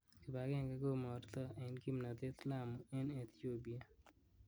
"Kibag'enge komorto en kimnotet Lamu en Ethiopia"